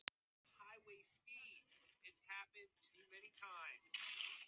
Við hlupum af stað um leið og þú hvolfdir bátnum.